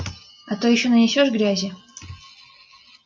а то ещё нанесёшь грязи